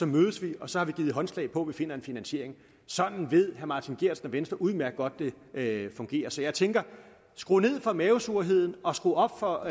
mødes vi og så har vi givet håndslag på at vi finder en finansiering sådan ved herre martin geertsen og venstre udmærket godt det det fungerer så jeg tænker skru ned for mavesurheden og skru op for